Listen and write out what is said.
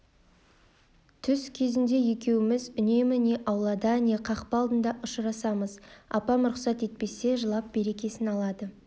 түс кезінде екеуіміз үнемі не аулада не қақпа алдында ұшырасамыз апам рұқсат етпесе жылап берекесін алады